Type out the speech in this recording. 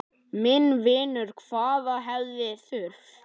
Minn vinur, hvað hefði þurft?